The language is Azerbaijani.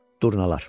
Durnalar.